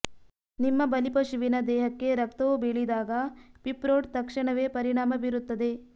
ನಿಮ್ಮ ಬಲಿಪಶುವಿನ ದೇಹಕ್ಕೆ ರಕ್ತವು ಬೀಳಿದಾಗ ಪಿಪ್ರೋಟ್ ತಕ್ಷಣವೇ ಪರಿಣಾಮ ಬೀರುತ್ತದೆ